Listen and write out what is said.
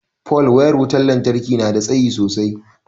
pole wayar wutar lantarki nada tsayi sosai